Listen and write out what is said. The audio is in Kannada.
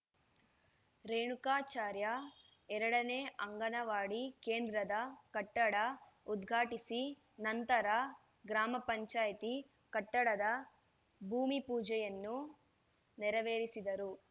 ರೇಣುಕಾಚಾರ್ಯ ಎರಡ ನೇ ಅಂಗನವಾಡಿ ಕೇಂದ್ರದ ಕಟ್ಟಡ ಉದ್ಘಾಟಿಸಿ ನಂತರ ಗ್ರಾಮ ಪಂಚಾಯತಿ ಕಟ್ಟಡದ ಭೂಮಿ ಪೂಜೆಯನ್ನು ಪೂಜೆಯನ್ನು ನೆರವೇರಿಸಿದರು